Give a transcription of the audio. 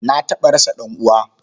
Na taɓa rasa ɗan'uwa.